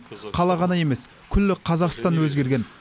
қала ғана емес күллі қазақстан өзгерген